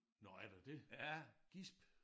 Nåh er der det? Gisp